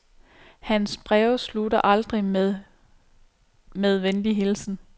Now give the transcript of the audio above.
Hans breve slutter aldrig med "med venlig hilsen".